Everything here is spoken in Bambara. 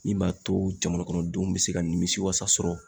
Min b'a to jamana kɔnɔdenw be se ka nimisiwasa sɔrɔ